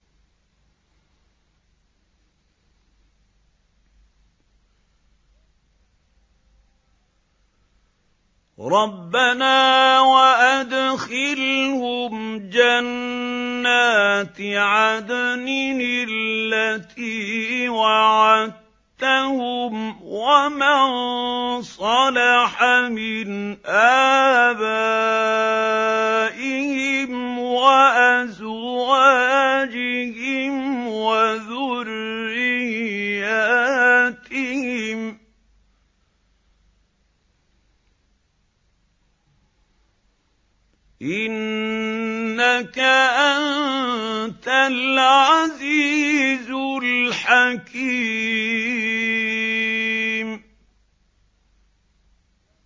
رَبَّنَا وَأَدْخِلْهُمْ جَنَّاتِ عَدْنٍ الَّتِي وَعَدتَّهُمْ وَمَن صَلَحَ مِنْ آبَائِهِمْ وَأَزْوَاجِهِمْ وَذُرِّيَّاتِهِمْ ۚ إِنَّكَ أَنتَ الْعَزِيزُ الْحَكِيمُ